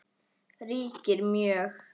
ríkir mjög.